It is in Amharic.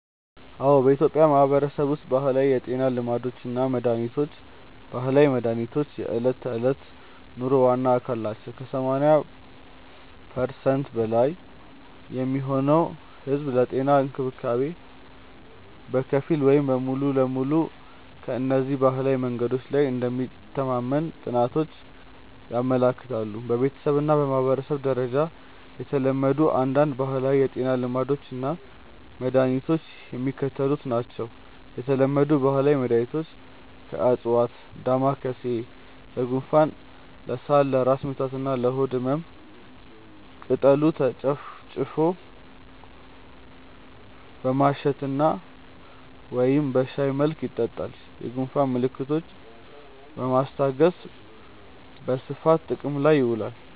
አዎ፣ በኢትዮጵያ ማህበረሰብ ውስጥ ባህላዊ የጤና ልማዶች እና መድሃኒቶች (ባህላዊ መድሃኒት) የዕለት ተዕለት ኑሮ ዋና አካል ናቸው። ከ80% በላይ የሚሆነው ህዝብ ለጤና እንክብካቤ በከፊል ወይም ሙሉ በሙሉ በእነዚህ ባህላዊ መንገዶች ላይ እንደሚተማመን ጥናቶች ያመለክታሉ። በቤተሰብ እና በማህበረሰብ ደረጃ የተለመዱ አንዳንድ ባህላዊ የጤና ልማዶች እና መድኃኒቶች የሚከተሉት ናቸው የተለመዱ ባህላዊ መድኃኒቶች (ከዕፅዋት) ደማካሴ (Ocimum lamiifolium): ለጉንፋን፣ ለሳል፣ ለራስ ምታት እና ለሆድ ህመም ቅጠሉ ተጨፍልቆ በማሽተት ወይም በሻይ መልክ ይጠጣል። የጉንፋን ምልክቶችን ለማስታገስ በስፋት ጥቅም ላይ ይውላል።